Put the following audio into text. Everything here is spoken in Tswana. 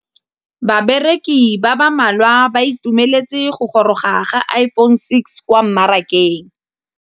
Bareki ba ba malwa ba ituemeletse go gôrôga ga Iphone6 kwa mmarakeng.